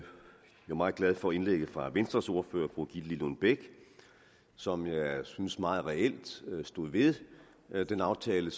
meget glad for indlægget fra venstres ordfører fru gitte lillelund bech som jeg synes meget reelt stod ved ved den aftale